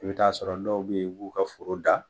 I bɛ taa'a sɔrɔ dɔw be ye i b'u ka foro da